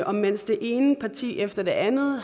og mens det ene parti efter det andet